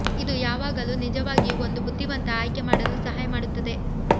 ಇದು ಯಾವಾಗಲೂ ನಿಜವಾಗಿಯೂ ಒಂದು ಬುದ್ಧಿವಂತ ಆಯ್ಕೆ ಮಾಡಲು ಸಹಾಯ ಮಾಡುತ್ತದೆ